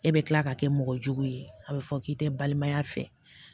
E bɛ tila ka kɛ mɔgɔ jugu ye a bɛ fɔ k'i tɛ balimaya fɛ